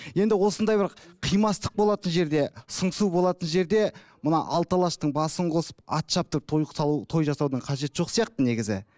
енді осындай бір қимастық болатын жерде сыңсу болатын жерде мына алты алаштың басын қосып ат шаптырып той салу той жасаудың қажеті жоқ сияқты негізі